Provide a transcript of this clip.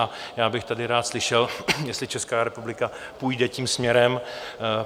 A já bych tady rád slyšel, jestli Česká republika půjde tím směrem.